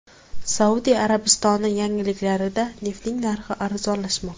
Saudiya Arabistoni yangiliklarida neftning narxi arzonlashmoqda .